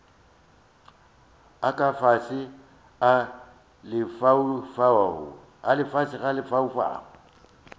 a ka fase a lefaufau